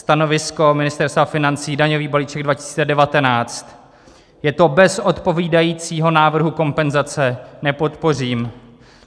Stanovisko Ministerstva financí daňový balíček 2019: je to bez odpovídajícího návrhu kompenzace, nepodpořím.